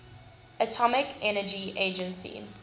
atomic energy agency